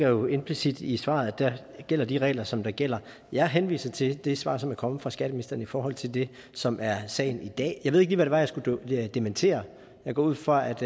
jo implicit i svaret der gælder de regler som der gælder jeg henviser til det svar som er kommet fra skatteministeren i forhold til det som er sagen i dag jeg ved ikke lige hvad det var jeg skulle dementere jeg går ud fra at